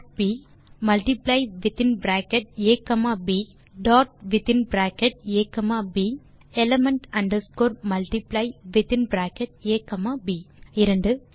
ah b multiply within bracket a comma b dot within bracket a comma b element underscore multiply within bracket a comma b 2